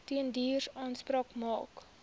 tenders aanspraak maak